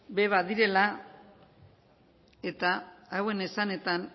ere badirela eta hauen esanetan